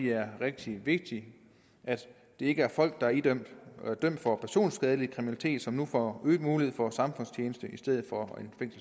er rigtig vigtigt at det ikke er folk der er dømt for personskadelig kriminalitet som nu får øget mulighed for samfundstjeneste i stedet for